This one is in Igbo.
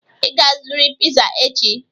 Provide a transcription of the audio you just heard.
Ị ga-azụrịrị piza echi!